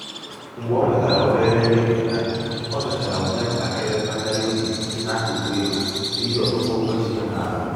mgbe o nwetara um obere um ihe nketa o mechara nwee ntakịrị mmegharị um obi n’akụkụ ego n’ihi ọtụtụ ụgwọ ji ya n’ala